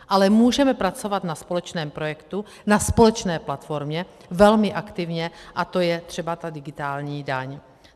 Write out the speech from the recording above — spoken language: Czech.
Ale můžeme pracovat na společném projektu, na společné platformě velmi aktivně, a to je třeba ta digitální daň.